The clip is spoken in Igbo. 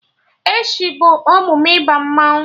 Echi bụ emume ịba mmanwụ